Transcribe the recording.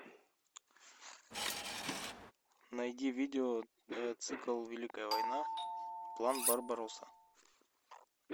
найди видео цикл великая война план барбаросса